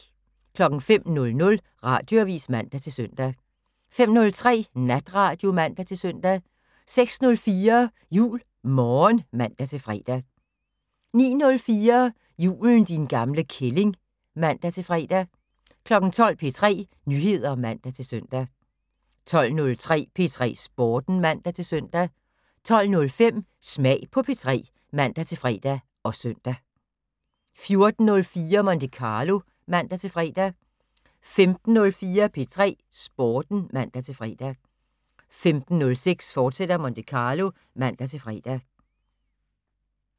05:00: Radioavis (man-søn) 05:03: Natradio (man-søn) 06:04: JuleMorgen (man-fre) 09:04: Julen din gamle kælling (man-fre) 12:00: P3 Nyheder (man-søn) 12:03: P3 Sporten (man-søn) 12:05: Smag på P3 (man-fre og søn) 14:04: Monte Carlo (man-fre) 15:04: P3 Sporten (man-fre) 15:06: Monte Carlo, fortsat (man-fre)